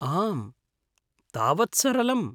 आम्, तावत् सरलम्।